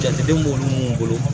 Jateden b'olu mun bolo